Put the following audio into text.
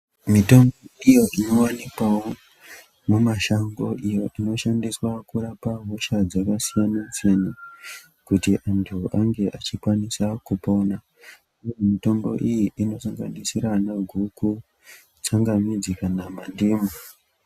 Mitombo iyo inowanikwawo mumashango iyo inorapa hosha dzakasiyana siyana kuti antu ange achikwanisa kupona. Mitombo iyi inosanganisira ana guku, tsangamidzi, kana mandimu.